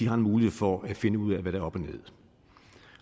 har en mulighed for at finde ud af hvad der er op og ned